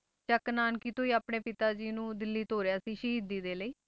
ਚੱਕ ਨਾਨਕੀ ਤੋਂ ਹੀ ਆਪਣੇ ਪਿਤਾ ਜੀ ਨੂੰ ਦਿੱਲੀ ਤੋਰਿਆ ਸੀ ਸ਼ਹੀਦੀ ਦੇ ਲਈ।